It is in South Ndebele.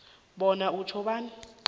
bona utjho bona